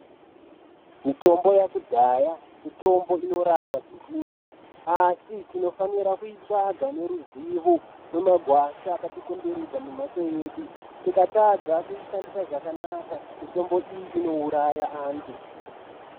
Mitombo yakudhaya mitombo inorapa zvizhinji asi tinofanira kuitsvaga neruzivo mumagwasha akatikomberedza memhatso yedu. Tikatadza kuishandisa zvakanaka, mitombo iyi inouraya vantu.